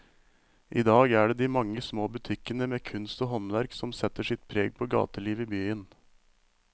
I dag er det de mange små butikkene med kunst og håndverk som setter sitt preg på gatelivet i byen.